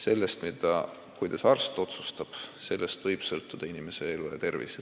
Sellest, kuidas arst otsustab, võib aga sõltuda inimese elu ja tervis.